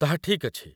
ତାହା ଠିକ୍ ଅଛି।